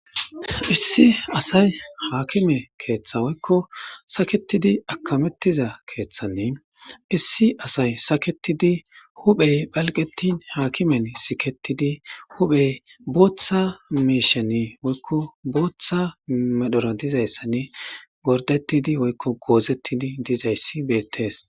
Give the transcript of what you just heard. Issi asay haakime keeththa woykko saketidi akamettiza keeththanne issi asay saketidi huphphe phalqetin haakimen siketidi huphphiya bootta miishshan woykko bootta medhora dizayssanne gordettidi woykko goozettidi dizayssi beettees.